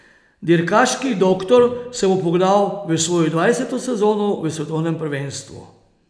Dirkaški doktor se bo pognal v svojo dvajseto sezono v svetovnem prvenstvu.